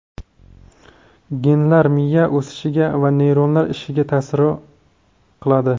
Genlar miya o‘sishiga va neyronlar ishiga ta’sior qiladi.